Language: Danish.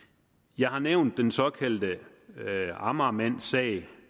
jeg har nævnt den såkaldte amagermandsag